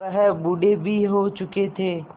वह बूढ़े भी हो चुके थे